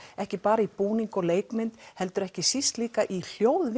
ekki bara í búning og leikmynd heldur ekki síst líka í